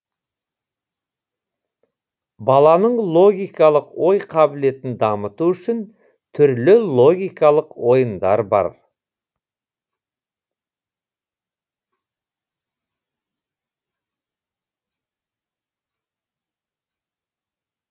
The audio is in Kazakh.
баланың логикалық ой қабілетін дамыту үшін түрлі логикалық ойындар бар